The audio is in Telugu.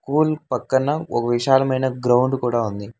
కూల్ పక్కన ఒక విశాలమైన గ్రౌండ్ కూడా ఉంది.